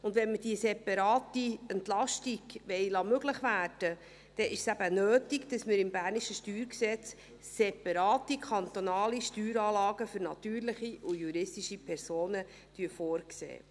Und wenn wir die separate Entlastung möglich werden lassen wollen, ist es nötig, dass wir im bernischen StG separate kantonale Steueranlagen für natürliche und juristische Personen vorsehen.